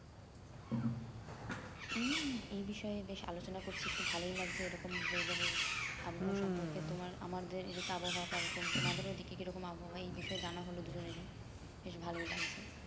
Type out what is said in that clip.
এই এই বিষয়ে বেশ আলোচনা করছি একটু ভালোই লাগছে এইরকম weather এর আবহাওয়া তোমার আমাদের এইদিকের আবহাওয়া কে রকম তোমাদের ওই দিকে কি রকম আবোহাই এই বিষয়ে জানা হলো দুজনেরই বেশ ভালোই লাগছে